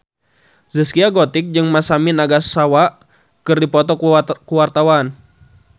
Zaskia Gotik jeung Masami Nagasawa keur dipoto ku wartawan